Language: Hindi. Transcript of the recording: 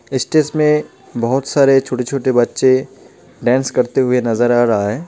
स्टेज में बोहोत सारे छोटे छोटे बच्चे डेन्स करते हुए नज़र आ रहा है.